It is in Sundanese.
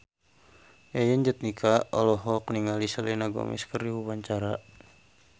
Yayan Jatnika olohok ningali Selena Gomez keur diwawancara